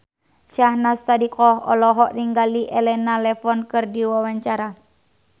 Syahnaz Sadiqah olohok ningali Elena Levon keur diwawancara